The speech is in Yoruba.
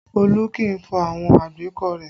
Olu kì í fọ àwọn àgbékọ̀ rẹ